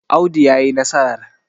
Audu ya yi nasarar!